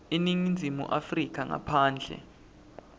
eningizimu afrika ngaphandle